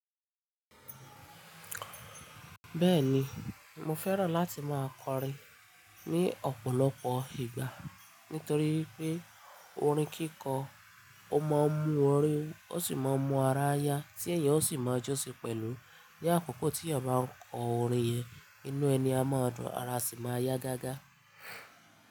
Bẹ́ẹ̀ni, mo fẹ́ràn láti máa kọrin ní ọ̀pọ̀lọpọ̀ ìgbà nítorí wipé orin kíkọ, ó máa ń mú ori wu, ó sì mọ ń mú ara yá tí èèyàn ó sì máa jo sì pẹ̀lú. Ni akoko tí èèyàn bá ń kọ orin yẹn, inú ẹni a mọ dùn, ara a sì máa yá gágá.